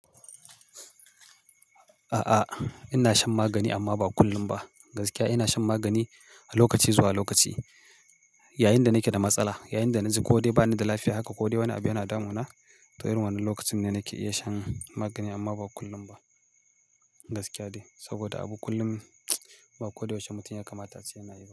A'a, ina shan magani amma ba kullum ba. Gaskiya ina shan magani a lokaci zuwa lokaci, yayin da nake da matsala, yayin da na ji ko dai bani da lafiya haka ko dai wani abu yana damuna. To, irin wannan lokacin ne nake iya shan magani amma ba kullum ba. Gaskiya dai saboda abu kullum ba ko da yaushe mutum ya kamata sai yana yi.